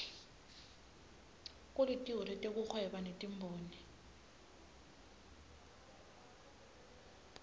kulitiko letekuhweba netimboni